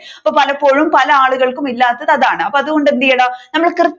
ഇപ്പോൾ പലപ്പോഴും പല ആളുകൾക്കും ഇല്ലാത്തതു അതാണ് അപ്പോ അതുകൊണ്ടു എന്ത് ചെയ്യണം നമ്മൾ കൃത്യം